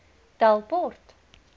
delport